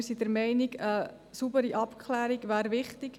Wir sind der Meinung, eine saubere Abklärung wäre wichtig.